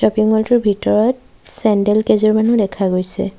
Shopping mall টোৰ ভিতৰত sandal কেইযোৰমানো দেখা গৈছে।